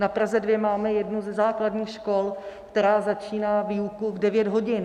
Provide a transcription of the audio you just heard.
Na Praze 2 máme jednu ze základních škol, která začíná výuku v 9 hodin.